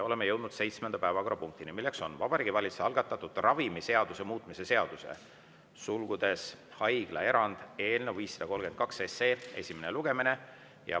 Oleme jõudnud seitsmenda päevakorrapunktini, milleks on Vabariigi Valitsuse algatatud ravimiseaduse muutmise seaduse eelnõu 532 esimene lugemine.